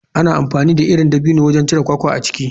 Ana amfani da irin dabino wajen cire kwakwa a ciki.